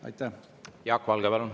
Jaak Valge, palun!